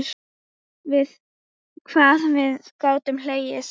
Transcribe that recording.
Hvað við gátum hlegið saman.